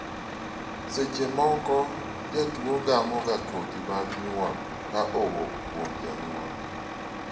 seche moko, jatuo gamo ga kodhi mag nyuol ka owuok kuom janyuol